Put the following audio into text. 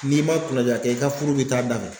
N'i man kunnaja kɛ i ka furu bɛ taa a dafɛ.